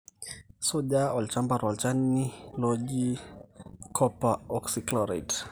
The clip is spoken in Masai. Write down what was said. suja olchamba tolchani laijo ilo oji copper oxychloride